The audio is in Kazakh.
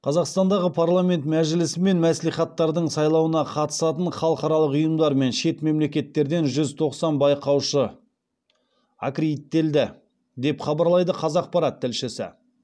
қазақстандағы парламент мәжілісі мен мәслихаттардың сайлауына қатысатын халықаралық ұйымдар мен шет мемлекеттерден жүз тоқсан байқаушы аккредиттелді деп хабарлайды қазақпарат тілшісі